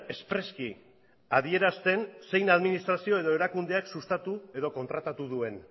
espreski adierazten zein administraziok edo erakundeak sustatu edo kontratatu duen